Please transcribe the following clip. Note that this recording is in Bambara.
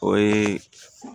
O ye